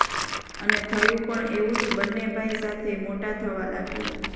અને થયું પણ એવું જ બને ભાઈ સાથે મોટા થવા લાગ્યા